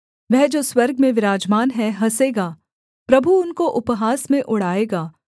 वह जो स्वर्ग में विराजमान है हँसेगा प्रभु उनको उपहास में उड़ाएगा